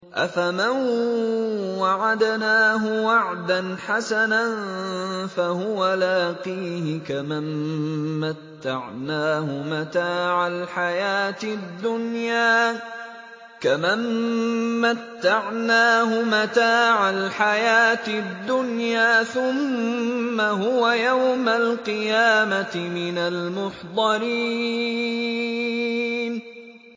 أَفَمَن وَعَدْنَاهُ وَعْدًا حَسَنًا فَهُوَ لَاقِيهِ كَمَن مَّتَّعْنَاهُ مَتَاعَ الْحَيَاةِ الدُّنْيَا ثُمَّ هُوَ يَوْمَ الْقِيَامَةِ مِنَ الْمُحْضَرِينَ